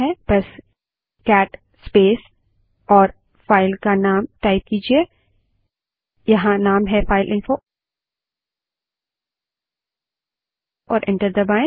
बस cat space और file का नाम टाइप कीजिये यहाँ नाम है फाइलइंफो और एंटर दबायें